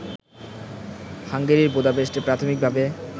হাঙ্গেরির বুদাপেস্টে প্রাথমিকভাবে